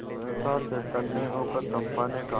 सहसा चैतन्य होकर चंपा ने कहा